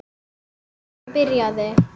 Síðan byrjaði